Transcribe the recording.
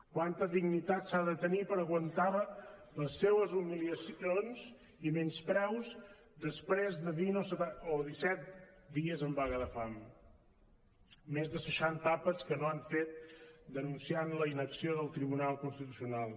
quanta dignitat s’ha de tenir per aguantar les seues humiliacions i menyspreus després de vint o disset dies en vaga de fam més de seixanta àpats que no han fet denunciant la inacció del tribunal constitucional